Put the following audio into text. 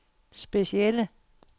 specielle